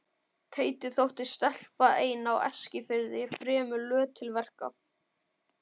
Teiti þótti stelpa ein á Eskifirði fremur löt til verka.